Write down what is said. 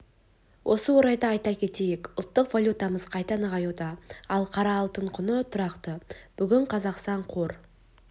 осы орайда айта кетейік ұлттық валютамыз қайта нығаюда ал қара алтын құны тұрақты бүгін қазақстан қор